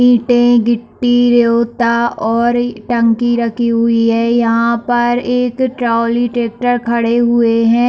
ईंटे गिट्टी रेवता और टंकी रखी हुई है यहाँ पर एक ट्राली ट्रैक्टर खड़े हुए है।